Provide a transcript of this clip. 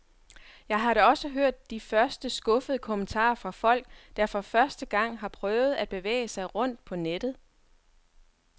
Jeg har da også hørt de første skuffede kommentarer fra folk, der for første gang har prøvet at bevæge sig rundt på nettet.